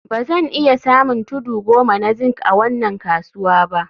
Ba zan iya samun tudu goma na zinc a wannan kasuwa ba